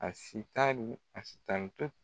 A si ta ni a s tanto